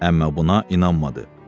Əmmə buna inanmadı.